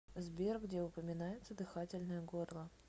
сбер где упоминается дыхательное горло